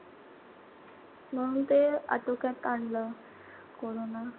म्हणून ते आटोक्यात आणलं. कोरोना.